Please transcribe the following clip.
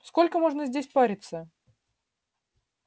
сколько можно здесь париться